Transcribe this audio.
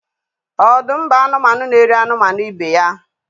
Ọdụm bụ anụmanụ n'eri anụmanụ ibe ya.